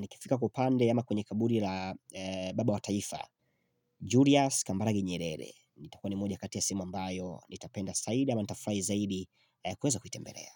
nikifika kwa upande ama kwenye kaburi la baba wa taifa, Julius Kambaragi Nyerere. Itakuwa ni moja kati ya sehemu ambayo nitapenda zaidi ama nitafurahi zaidi kuweza kuitembelea.